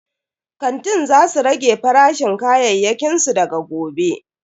Kantin za su rage farashin kayayyakin su daga gobe.